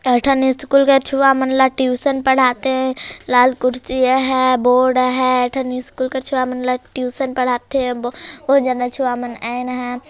टलठन school के छुआ मन ल ट्यूशन पढ़ा थे लाल कुर्सी ये हैं बोर्ड हैं एक ठन स्कूल छुआ मन ल ट्यूशन पढ़ा थे ओ जगा छुआ मन ह आइन हैं।